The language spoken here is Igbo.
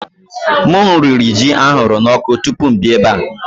M riri ji a huru n'ọkụ tupu m abịa ebe a